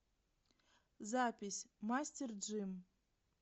запись мастер джим